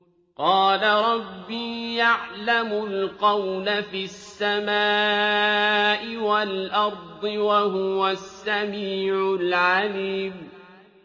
قَالَ رَبِّي يَعْلَمُ الْقَوْلَ فِي السَّمَاءِ وَالْأَرْضِ ۖ وَهُوَ السَّمِيعُ الْعَلِيمُ